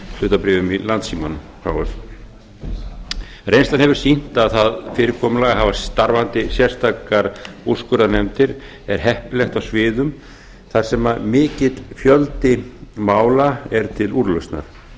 hlutabréfum í landssímanum h f reynslan hefur sýnt að það fyrirkomulag að hafa starfandi sérstakar úrskurðarnefndir er heppilegt á sviðum þar sem mikill fjöldi mála er til úrlausnar því er